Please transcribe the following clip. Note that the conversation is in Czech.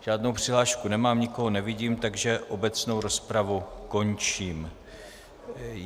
Žádnou přihlášku nemám, nikoho nevidím, takže obecnou rozpravu končím.